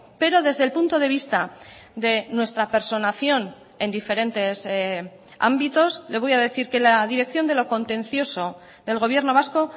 pero desde el punto de vista de nuestra personación en diferentes ámbitos le voy a decir que la dirección de lo contencioso del gobierno vasco